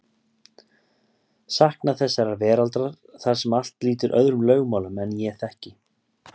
Saknað þessarar veraldar þar sem allt lýtur öðrum lögmálum en ég þekki.